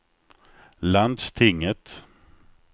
landstinget